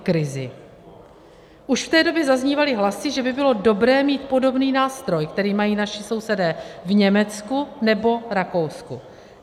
Už v té době zaznívaly hlasy, že by bylo dobré mít podobný nástroj, který mají naši sousedé v Německu nebo Rakousku.